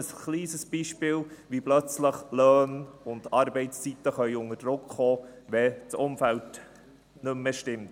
Dies ist ein kleines Beispiel, wie die Löhne und Arbeitszeiten plötzlich unter Druck kommen können, wenn das Umfeld nicht mehr stimmt.